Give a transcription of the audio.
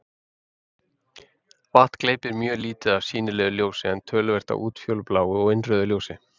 Vatn gleypir mjög lítið af sýnilegu ljósi en töluvert af útfjólubláu og innrauðu ljósi.